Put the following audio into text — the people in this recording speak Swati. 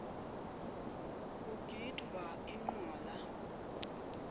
kugidvwa incwala